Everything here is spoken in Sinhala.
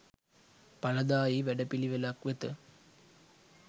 ඵලදායී වැඩපිළිවෙළක් වෙත